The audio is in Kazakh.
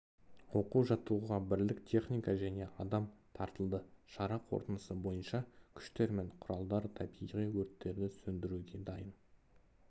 оқу-жаттығуға бірлік техника және адам тартылды шара қорытындысы бойынша күштер мен құралдар табиғи өрттерді сөндіруге дайын